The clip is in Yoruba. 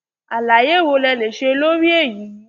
àlàyé wo lẹ lè ṣe lórí èyí